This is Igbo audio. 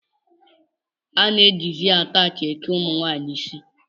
A na-ejizi ataachị eke ụmụnwaanyị isi